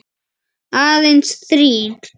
Aðeins þrír.